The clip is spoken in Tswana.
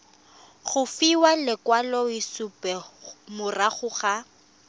go fiwa lekwaloitshupo morago ga